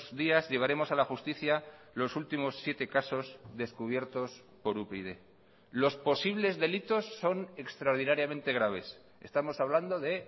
días llevaremos a la justicia los últimos siete casos descubiertos por upyd los posibles delitos son extraordinariamente graves estamos hablando de